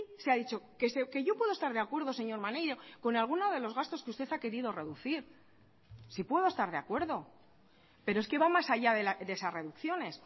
se ha dicho que yo puedo estar de acuerdo señor maneiro con alguno de los gastos que usted ha querido reducir sí puedo estar de acuerdo pero es que va más allá de esas reducciones